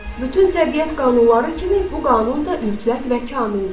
Bütün təbiət qanunları kimi bu qanun da mütləq və kamildir.